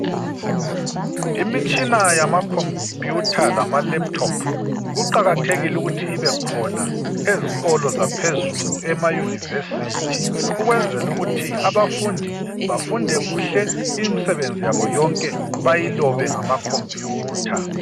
Imitshina yamakhompiyutha lamalaptop kuqakathekile ukuthi ibekhona ezikolo zaphezulu emaYunivesithi ukwenzela ukuthi abafundi bafunde kuhle imisebenzi yabo yonke bayilobe ngamakhompiyutha.